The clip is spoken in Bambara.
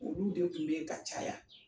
Olu de kun be yen ka caya.